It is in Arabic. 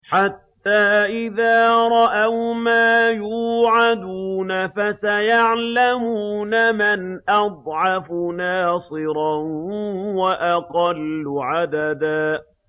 حَتَّىٰ إِذَا رَأَوْا مَا يُوعَدُونَ فَسَيَعْلَمُونَ مَنْ أَضْعَفُ نَاصِرًا وَأَقَلُّ عَدَدًا